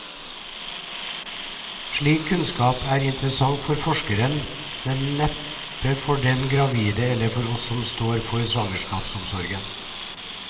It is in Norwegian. Slik kunnskap er interessant for forskeren, men neppe for den gravide eller oss som står for svangerskapsomsorgen.